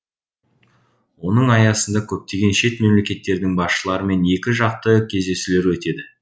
оның аясында көптеген шет мемлекеттердің басшыларымен екі жақты кездесулер өтеді